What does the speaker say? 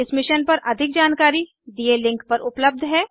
इस मिशन पर अधिक जानकारी दिए लिंक पर उपलब्ध है